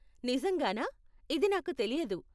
నిజంగానా? ఇది నాకు తెలియదు.